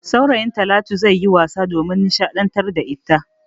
Saurayin Talatu zai yi wasa domin nishadantar da ita.